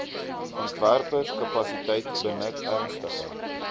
ontwerpkapasiteit benut ernstige